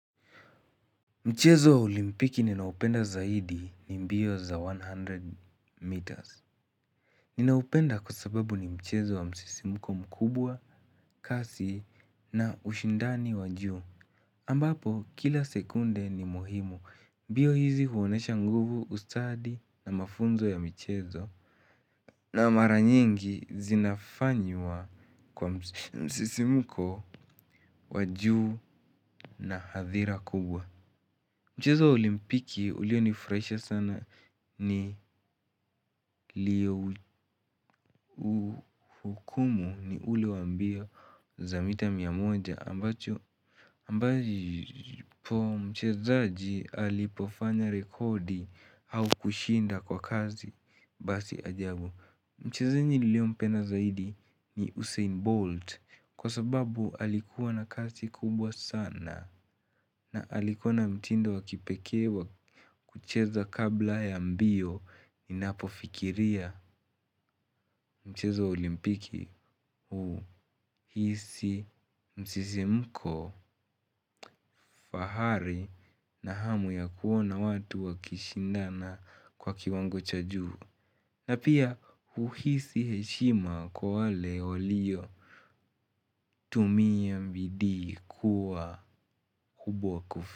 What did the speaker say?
Mchezo wa olimpiki ninaupenda zaidi ni mbio za mia moja meters. Ninaupenda kusababu ni mchezo wa msisimuko mkubwa kasi na ushundani wa juu. Ambapo kila sekunde ni muhimu. Mbio hizi huonyesha nguvu, ustadi na mafunzo ya mchezo. Na mara nyingi zinafanywa kwa msisimuko wa juu na hadhira kubwa. Mchezo wa olimpiki ulionifurahisha sana ni lio. Hukumu ni ule wa mbio za mita mia moja. Ambo mchezaji. Mchezaji niliyempenda zaidi ni Usain Bolt kwa sababu alikuwa na kasi kubwa sana. Na alikuwa na mtndo wa kipekee kucheza kabla ya mbio inapofikiria mchezo wa olimpiki uhisi msisimko, fahari na hamu ya kuona watu wakishindana kwa kiwango cha juu. Na pia uhisi heshima kwa wale waliotumia biidii kuwa.